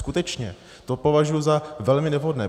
Skutečně, to považuji za velmi nevhodné.